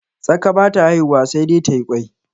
Tsaka ba ta haihuwa sai dai tayi ƙwai